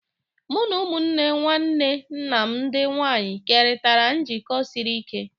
Mụ na ụmụnne nwanne nna m ndị nwanyị kerịtara njikọ siri ike